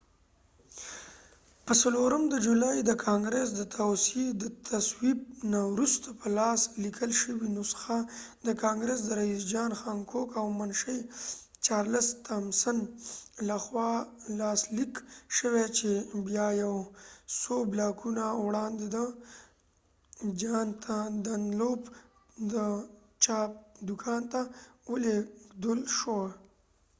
په څلورم د جولای د ګانګرس د تصویب نه وروسته په لاس لیکل شوې نسخه د کانګرس د رئیس جان هانکوک او منشي چارلس تامسن لخوا لاسلیک شوې چې بیا یو څو بلاکونه وړاندې د جان دنلوپ د چاپ دوکان ته ولیږدول شوه